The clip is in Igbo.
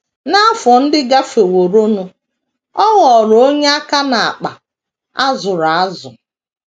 N’afọ ndị gafeworonụ, ọ ghọrọ onye aka n’akpa a zụrụ azụ.